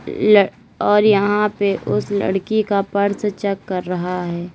ल और यहां पे उस लड़की का पर्स चेक कर रहा है।